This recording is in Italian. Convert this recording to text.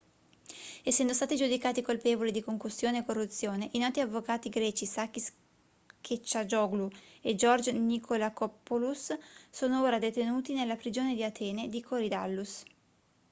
essendo stati giudicati colpevoli di concussione e corruzione i noti avvocati greci sakis kechagioglou e george nikolakopoulos sono ora detenuti nella prigione di atene di korydallus